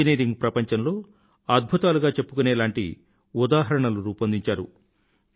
engineering ప్రపంచంలో అద్భుతాలుగా చెప్పుకునేలాంటి ఉదాహరణలు రూపొందించారు